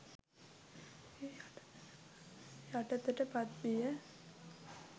යටතට පත්විය.